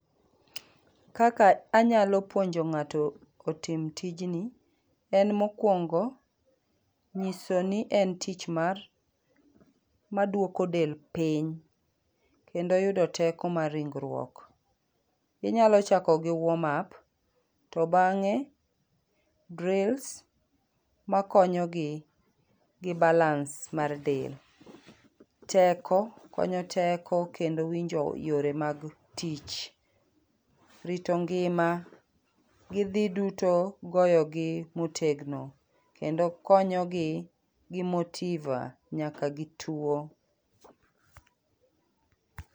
Kaka anyalo puonjo ngato otim tijni en mokuongo nyisoni en tich mar maduoko del piny kendo yudo teko mar ringruok .Inyalo chako gi warm up to bange drills makonyogi gi balance mar del. Teko, konyo teko kendo winjo yore mag tich, rito ngima gi dhi duto goyogi motegno kendo konyogi gi motiva nyaka gi tuo